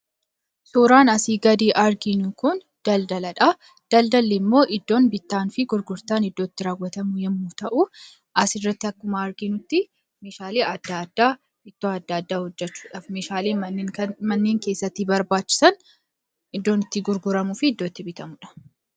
Suuraan asii gadii arginu Kun, daldaladha. Daldalli immoo iddoo bittaa fi gurgurtaan itti raawwatamu yemmuu ta'u, asirratti akkuma arginutti Meeshaalee addaa addaa irraa hojjechuudhaaf kan nu tajaajilan. Meeshaalee manneen keessatti barbaachisan iddoo itti gurguramuu bitamuudha.